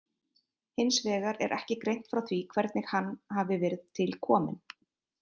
Hins vegar er ekki greint frá því hvernig hann hafi verið til kominn.